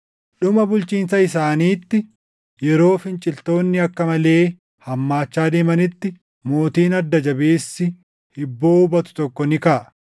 “Dhuma bulchiinsa isaaniitti, yeroo finciltoonni akka malee hammaachaa deemanitti mootiin adda jabeessi hibboo hubatu tokko ni kaʼa.